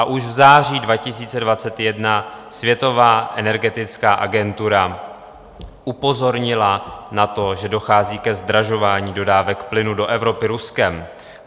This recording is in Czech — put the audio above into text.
A už v září 2021 světová energetická agentura upozornila na to, že dochází ke zdražování dodávek plynu do Evropy Ruskem.